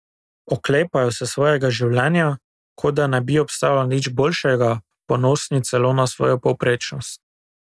Oklepajo se svojega življenja, kot da ne bi obstajalo nič boljšega, ponosni celo na svojo povprečnost.